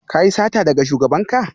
Ka yi sata daga shugabanka?